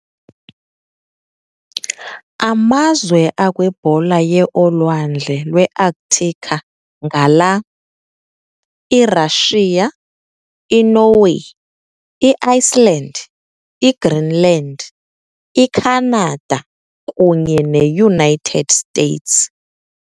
Amazwe akwibhola yeolwandle lweArctica ngala- iRussia, iNorway, iIceland, iGreenland, iCanada kunye neUnited States.